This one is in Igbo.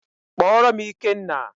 Kpọọrọ m Ikenna!